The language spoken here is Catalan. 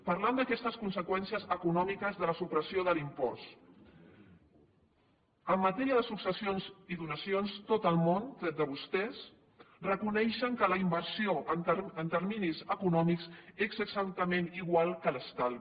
parlant d’aquestes conseqüències econòmiques de la supressió de l’impost en matèria de successions i donacions tot el món tret de vostès reconeix que la inversió en termes econòmics és exactament igual que l’estalvi